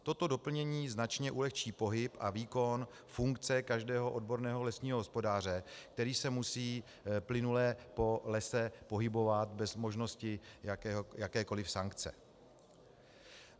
Toto doplnění značně ulehčí pohyb a výkon funkce každého odborného lesního hospodáře, který se musí plynule po lese pohybovat bez možnosti jakékoli sankce.